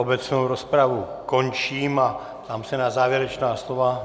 Obecnou rozpravu končím a ptám se na závěrečná slova.